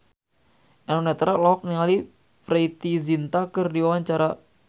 Eno Netral olohok ningali Preity Zinta keur diwawancara